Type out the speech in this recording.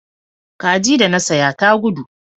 Kaji da na saya ta gudu